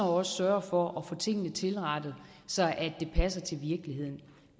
også sørger for at få tingene tilrettet så de passer til virkeligheden